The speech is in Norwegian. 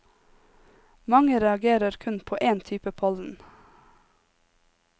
Mange reagerer kun på én type pollen.